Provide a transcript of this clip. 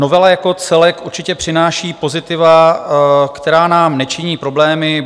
Novela jako celek určitě přináší pozitiva, která nám nečiní problémy.